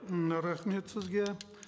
м рахмет сізге